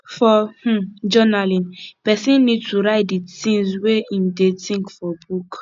for um journaling person need to write di things wey im dey think for book